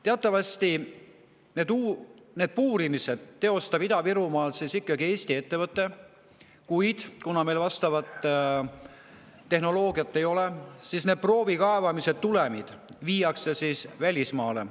Teatavasti neid puurimisi teostab Ida-Virumaal ikkagi Eesti ettevõte, kuid kuna meil vastavat tehnoloogiat ei ole, siis need proovikaevamise tulemid viiakse välismaale.